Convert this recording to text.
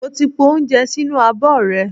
Mo ti po oúnjẹ sínú abọ́ rẹ̀.